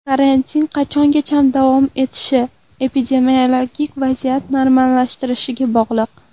Karantin qachongacha davom etishi epidemiologik vaziyat normallashishiga bog‘liq .